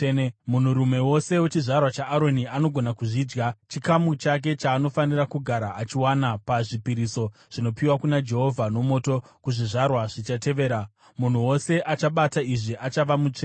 Munhurume wose wechizvarwa chaAroni anogona kuzvidya. Chikamu chake chaanofanira kugara achiwana pazvipiriso zvinopiwa kuna Jehovha nomoto kuzvizvarwa zvichatevera. Munhu wose achabata izvi achava mutsvene.’ ”